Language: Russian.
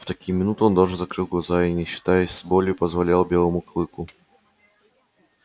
в такие минуты он даже закрывал глаза и не считаясь с болью позволял белому клыку